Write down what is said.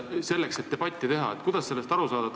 Kuidas sellest aru saada?